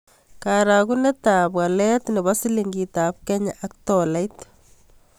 Karogunetap walet ne po silingiitap kenyaak tolait